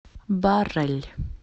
баррель